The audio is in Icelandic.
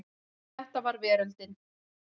Þetta var veröldin.